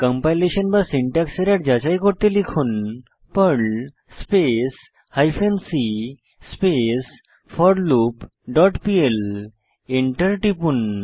compilation বা syntax error যাচাই করতে লিখুন Perl space hyphen c space for loop dot PL Enter টিপুন